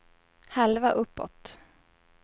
halva uppåt